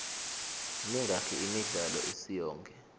mingaki imidlalo isiyonke